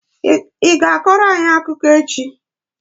Ị ga-akọrọ anyị akụkọ echi?